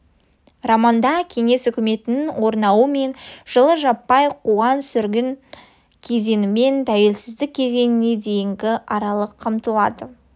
романда кеңес үкіметінің орнауы мен жылғы жаппай қуғын-сүргін кезеңімен тәуелсіздік кезеңіне дейінгі аралық қамтылады